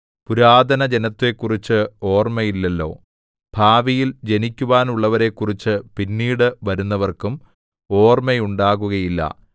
പുരാതന ജനത്തെക്കുറിച്ച് ഓർമ്മയില്ലല്ലോ ഭാവിയിൽ ജനിക്കുവാനുള്ളവരെക്കുറിച്ച് പിന്നീട് വരുന്നവർക്കും ഓർമ്മയുണ്ടാകുകയില്ല